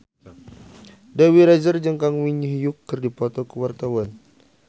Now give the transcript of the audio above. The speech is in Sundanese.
Dewi Rezer jeung Kang Min Hyuk keur dipoto ku wartawan